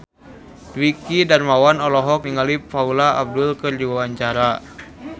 Dwiki Darmawan olohok ningali Paula Abdul keur diwawancara